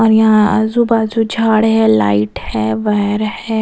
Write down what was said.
और यहाँ आजू-बाजू झाड़ है लाइट है वायर है।